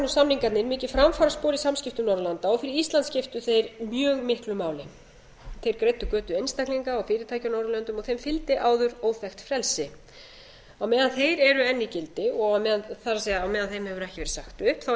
samningarnir mikið framfaraspor í samskiptum norðurlanda fyrir ísland skiptu þeir mjög miklu máli þeir greiddu götu einstaklinga og fyrirtækja á norðurlöndum og þeim fylgdi áður óþekkt frelsi á meðan þeir eru enn í gildi og á meðan þeim hefur ekki verið sagt upp er